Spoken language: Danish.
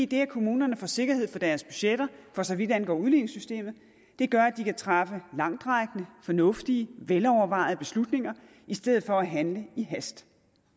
det at kommunerne får sikkerhed for deres budgetter for så vidt angår udligningssystemet gør at de kan træffe langtrækkende fornuftige velovervejede beslutninger i stedet for at handle i hast